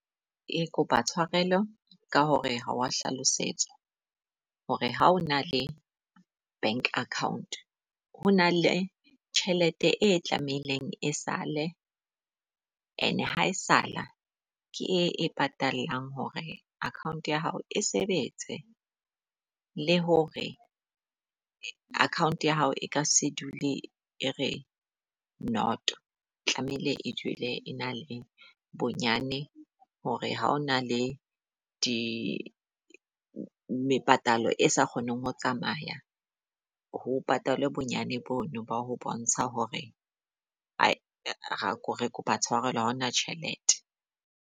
Ee, kopa tshwarelo ka hore ha wa hlalosetsa hore ha o na le bank account, ho na le tjhelete e tlameileng e sale and ha e sala ke e patalang hore account ya hao e sebetse. Le hore account ya hao e ka se dule e re noto. Tlamehile e dule ena le bonyane hore ha o na le di mepatalo e sa kgoneng ho tsamaya ho patalwe bonyane bono ba ho bontsha hore re ke kopa tshwarelo haona tjhelete.